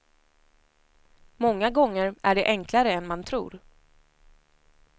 Många gånger är det enklare än man tror.